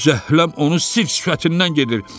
Zəhləm onun sir-sifətindən gedir.